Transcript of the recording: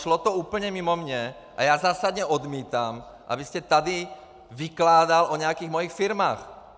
Šlo to úplně mimo mě a já zásadně odmítám, abyste tady vykládal o nějakých mých firmách!